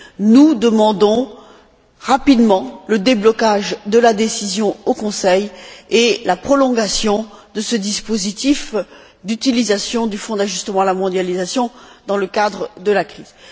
Nous demandons rapidement le déblocage de la décision au Conseil et la prolongation de ce dispositif d'utilisation du Fonds d'ajustement à la mondialisation dans le cadre de la crise.